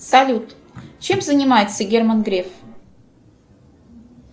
салют чем занимается герман греф